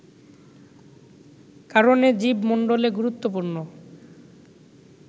কারণে জীব মন্ডলে গুরুত্বপূর্ণ